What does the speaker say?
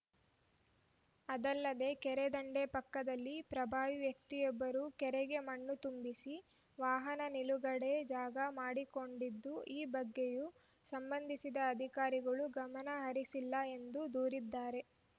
ಅದಲ್ಲದೇ ಕೆರೆದಂಡೆ ಪಕ್ಕದಲ್ಲಿ ಪ್ರಭಾವಿ ವ್ಯಕ್ತಿಯೊಬ್ಬರು ಕೆರೆಗೆ ಮಣ್ಣು ತುಂಬಿಸಿ ವಾಹನ ನಿಲುಗಡೆ ಜಾಗ ಮಾಡಿಕೊಂಡಿದ್ದು ಈ ಬಗ್ಗೆಯೂ ಸಂಬಂಧಿಸಿದ ಅಧಿಕಾರಿಗಳು ಗಮನಹರಿಸಿಲ್ಲ ಎಂದು ದೂರಿದ್ದಾರೆ